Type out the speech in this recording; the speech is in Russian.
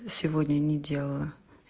сегодня не делала